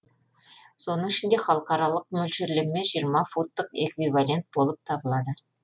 соның ішінде халықаралық мөлшерлеме жиырма футтық эквивалент болып табылады